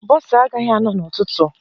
Bọsa agaghi anọ n'ụtụtụ